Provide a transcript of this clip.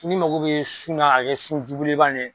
N'i mago bɛ sun na k'a kɛ sunjubelebeleba nin ye.